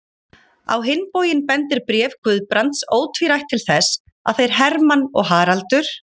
Á hinn bóginn bendir bréf Guðbrands ótvírætt til þess, að þeir Hermann og Haraldur